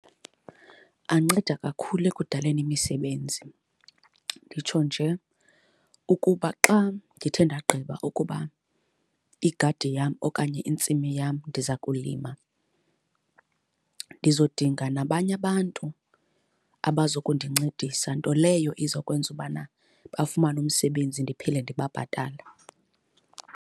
Anceda kakhulu ekudaleni imisebenzi. Nditsho nje ukuba xa ndithe ndagqiba ukuba igadi yam okanye intsimi yam ndiza kulima, ndizodinga nabanye abantu abazokundincedisa. Nto leyo iza kwenza ubana bafumane umsebenzi ndiphinde ndibabhatale.